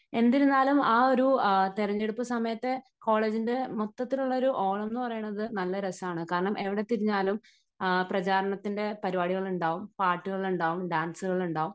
എന്നിരുന്നാലും ആ ഒരു തെരഞ്ഞെടുപ്പ് സമയത്ത് കോളേജിന്റെ മൊത്തത്തിലുള്ള ഒരു ഓളം എന്ന് പറയുന്നത് നല്ല രസമാണ്. കാരണം എവിടെ തിരിഞ്ഞാലും പ്രചാരണത്തിന് പരിപാടികൾ ഉണ്ടാകും, പാട്ടുകൾ ഉണ്ടാകും ഡാൻസുകൾ ഉണ്ടാകും